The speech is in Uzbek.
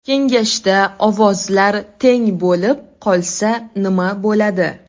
Kengashda ovozlar teng bo‘lib qolsa nma bo‘ladi?